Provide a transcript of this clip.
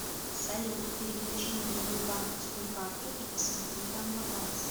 салют переключи на другую банковскую карту и посмотри там баланс